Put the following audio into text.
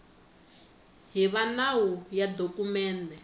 hi va nawu ya dokumende